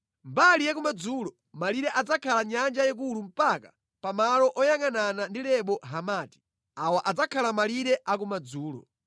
Mbali ya kumadzulo, malire adzakhala Nyanja Yayikulu mpaka pa malo oyangʼanana ndi Lebo Hamati. Awa adzakhala malire akumadzulo.”